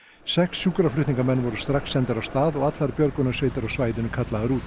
sex sjúkraflutningamenn voru strax sendir af stað og allar björgunarsveitir á svæðinu kallaðar út